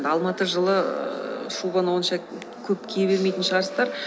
алматы жылы ііі шубаны онша көп кие бермейтін шығарсыздар